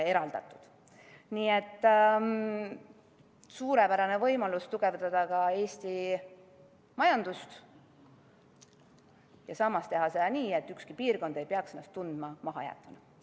See on suurepärane võimalus tugevdada ka Eesti majandust ja teha seda nii, et ükski piirkond ei peaks ennast tundma mahajäetuna.